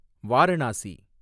Varanasi